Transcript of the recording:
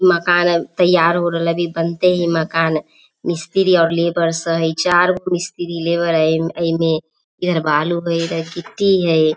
मकान अब तइयार हो राहिले अभी बनते हई मकान मिस्त्री और लेबर चारगो मिस्त्री लेबर हई इमें इधर बालू हई इधर गिट्टी हैइ।